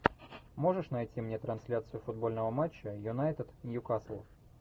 можешь найти мне трансляцию футбольного матча юнайтед ньюкасл